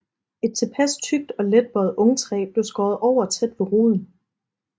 Et tilpas tykt og let bøjet ungtræ blev skåret over tæt ved roden